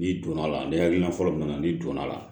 N'i donna a la ni hakilina fɔlɔ min na n'i donna a la